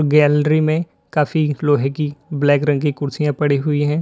Gallery में काफी लोहे की ब्लैक रंग की कुर्सियां पड़ी हुई है।